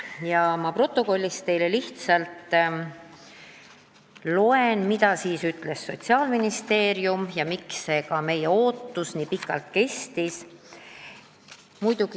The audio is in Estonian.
Ma lihtsalt protokollist teile loen, mida siis ütles Sotsiaalministeeriumi esindaja ja miks meie ootus nii pikalt on kestnud.